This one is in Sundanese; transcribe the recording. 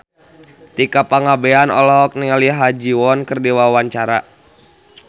Tika Pangabean olohok ningali Ha Ji Won keur diwawancara